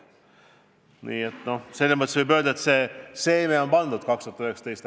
Nii et selles mõttes võib öelda, et seeme on idanema pandud 2019.